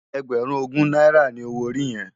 Ègbèrún ógún nàirá ni ôwó óri yèn?